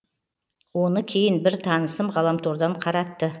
оны кейін бір танысым ғаламтордан қаратты